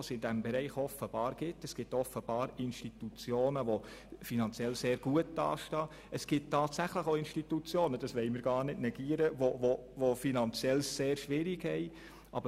Offenbar gibt es Institutionen, die finanziell sehr gut dastehen, und es gibt tatsächlich auch Institutionen, die es finanziell sehr schwierig haben.